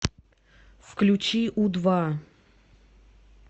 включи у два